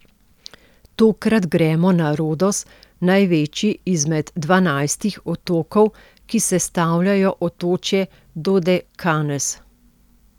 Tokrat gremo na Rodos, največji izmed dvanajstih otokov, ki sestavljajo otočje Dodekanez.